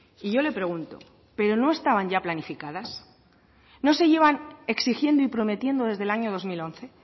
y yo le pregunto pero no estaban ya planificadas no se llevan exigiendo y prometiendo desde el año dos mil once